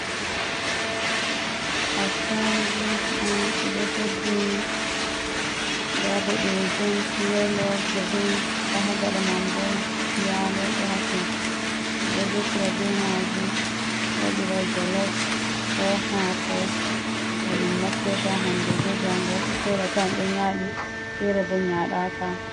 Attaruguji on ɓedo hebbini, nda boɗejum, yalo, green nda ha gaɗa man bo yalo do haton, ɓe ɗo defira be majum wadira jolaf, ko haako. Bo min naftirta hande be jango; fere atawan do nyadi, fere bo nyadaka.